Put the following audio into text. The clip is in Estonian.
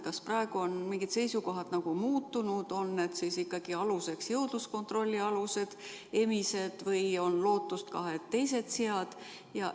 Kas praegu on mingid seisukohad muutunud, kas aluseks on ikkagi jõudluskontrolli alused emised või on lootust, et ka teised sead?